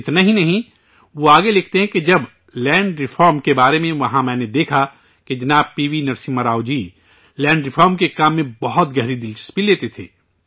اتنا ہی نہیں، وہ آگے لکھتے ہیں، جب لینڈ ریفارم کے بارے میں وہاں میں نے دیکھا کہ جناب P V Narasimha Rao ji land reform کے کام میں بہت گہری دلچسپی لیتے تھے